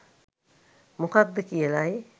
මොකද්ද කියලයි.